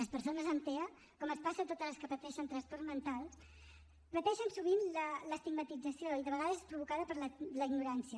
les persones amb tea com els passa a totes les que pateixen trastorns mentals pateixen sovint l’estigmatització i de vegades és provocada per la ignorància